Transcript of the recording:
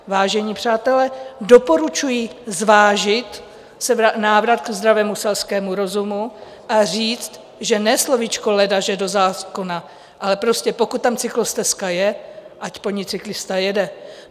Vážení přátelé, doporučuji zvážit návrat ke zdravému selskému rozumu a říct, že ne slovíčko ledaže do zákona, ale prostě pokud tam cyklostezka je, ať po ní cyklista jede.